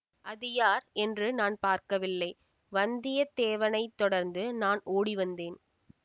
அது யார் என்று நான் பார்க்கவில்லை வந்தியத்தேவனை தொடர்ந்து நான் ஓடி வந்தேன்